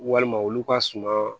Walima olu ka suma